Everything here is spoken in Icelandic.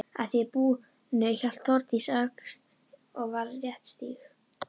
Að því búnu hélt Þórdís að Öxl og var léttstíg.